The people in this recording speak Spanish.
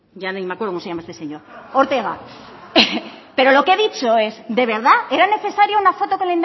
ortega pero lo que he dicho es de verdad era necesario una foto con